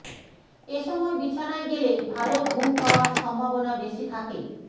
এ সময় বিছানায় গেলে ভালো ঘুম হওয়ার সম্ভাবনা বেশি থাকে